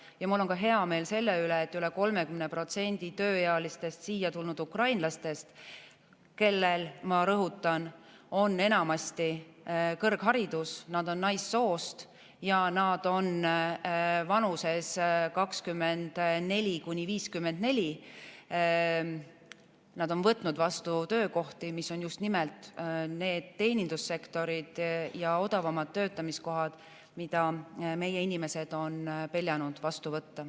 Ja mul on hea meel ka selle üle, et üle 30% tööealistest siia tulnud ukrainlastest, kellel, ma rõhutan, on enamasti kõrgharidus, kes on naissoost ja vanuses 24–54, on võtnud vastu töökohti, mis on just nimelt teenindussektoris ja odavamad töötamiskohad, mida meie inimesed on peljanud vastu võtta.